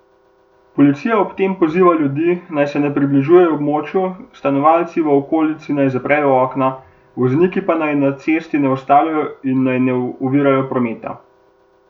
Policija ob tem poziva ljudi, naj se ne približujejo območju, stanovalci v okolici naj zaprejo okna, vozniki pa naj se na cesti ne ustavljajo in naj ne ovirajo prometa.